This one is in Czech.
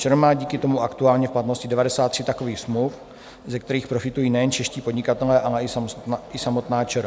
ČR má díky tomu aktuálně v platnosti 93 takových smluv, ze kterých profitují nejen čeští podnikatelé, ale i samotná ČR.